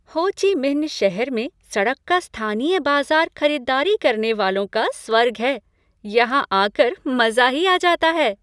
हो Chi Minh शहर में सड़क का स्थानीय बाजार खरीदारी करने वालों का स्वर्ग है। यहाँ आ कर मज़ा ही आ जाता है!